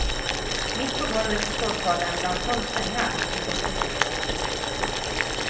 Mitt på golvet i sovsalen bland tolv sängar! utropstecken